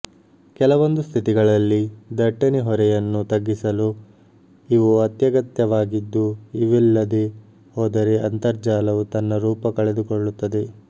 ಕೆಲವೊಂದು ಪರಿಸ್ಥಿತಿಗಳಲ್ಲಿ ದಟ್ಟಣೆ ಹೊರೆಯನ್ನು ತಗ್ಗಿಸಲು ಇವು ಅತ್ಯಗತ್ಯವಾಗಿದ್ದು ಇವಿಲ್ಲದೇ ಹೋದರೆ ಅಂತರ್ಜಾಲವು ತನ್ನ ರೂಪಕಳೆದುಕೊಳ್ಳುತ್ತದೆ